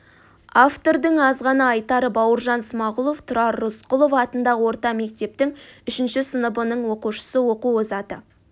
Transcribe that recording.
автордың аз ғана айтары бауыржан смағұлов тұрар рысқұлов атындағы орта мектептің үшінші сыныбының оқушысы оқу озаты